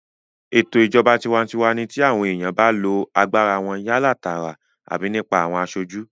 Ètò ìjọba tinwatinwa ní ti àwọn èèyàn ba lo agbára wọn yálà tààrà àbí nípa àwọn aṣojú